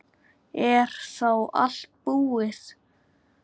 Er þá allt búið?